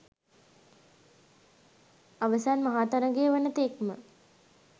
අවසන් මහා තරගය වන තෙක්ම